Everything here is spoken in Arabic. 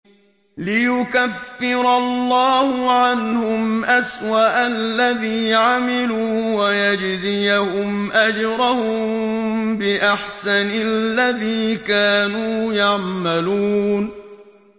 لِيُكَفِّرَ اللَّهُ عَنْهُمْ أَسْوَأَ الَّذِي عَمِلُوا وَيَجْزِيَهُمْ أَجْرَهُم بِأَحْسَنِ الَّذِي كَانُوا يَعْمَلُونَ